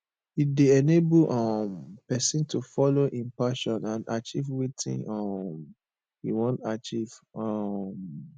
e de enable um persin to follow in passion and acheive wetin um e won achieve um